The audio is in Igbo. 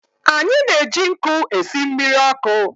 Anyị na-eji nkụ esị mmiri ọkụ.